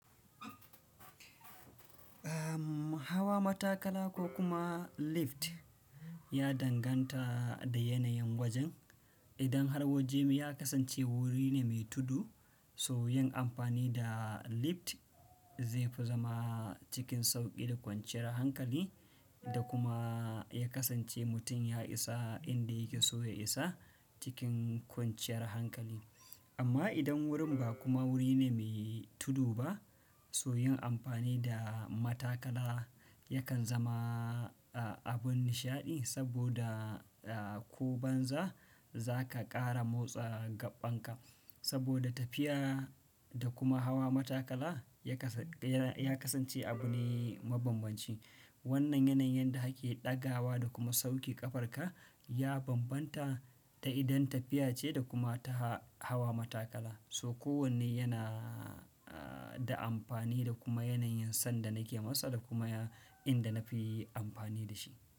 Hawa matakala ko kuma lift ya danganta da yanayin wajen. Idan har waje ya kasance wuri ne mai tudu, so yin amfani da lift zai fi zama cikin sauƙi da kwanciyar hankali da kuma ya kasance mutum ya isa inda yake so ya isa cikin kwanciyar hankali. Amma idan wurin ba kuma wuri ne mai tudu ba, so yin amfani da matakala yakan zama, ah, abun nishaɗi saboda, ah, ko banza za ka ƙara motsa gaɓan ka. Saboda tafiya da kuma hawa matakala ya kasa-- ya kasance abu ne mabambanci. Wannan yanayin da ake ɗagawa da kuma sauke ƙafar ka ya bambanta da idan tafiya ce da kuma ta hawa matakala. So kowanne yana, aah, da amfani da kuma yanayin sanda nake masa da kuma inda na fi amfani da shi.